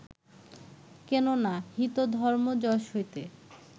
কেন না, হিত, ধর্ম, যশ হইতে